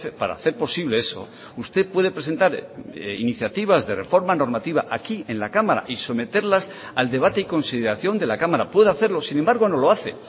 para hacer posible eso usted puede presentar iniciativas de reforma normativa aquí en la cámara y someterlas al debate y consideración de la cámara puede hacerlo sin embargo no lo hace